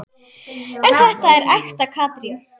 En þetta er ekta Katrín.